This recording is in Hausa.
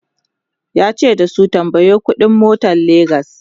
yace da su"tambayo ƙuɗi n motan legas!"